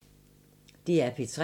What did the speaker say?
DR P3